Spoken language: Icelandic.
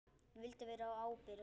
Ég vildi vera ábyrg.